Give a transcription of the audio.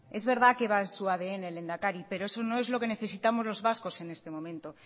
es verdad que va en su adn lehendakari pero eso no es lo que necesitamos los vascos en este momento